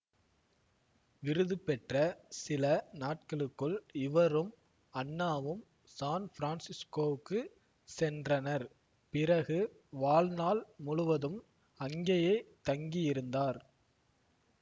விருதுபெற்ற சில நாட்களுக்குள் இவரும் அன்னாவும் சான்ஃபிரான்சிசுகோவுக்கு சென்றனர் பிறகு வாழ்நாள் முழுவதும் அங்கேயே தங்கியிருந்தார்